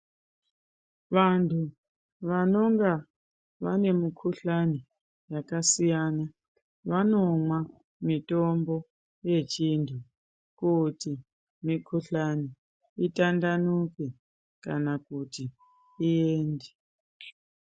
Vanhu vanenge vane mikhuhlani yakasiyana vanomwa mitombo yechiantu kuti mikhuhlani itandanuke kana kuti iende.